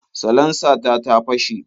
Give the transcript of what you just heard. Salansa ta ta fashe.